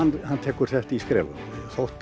hann tekur þetta í skrefum þótt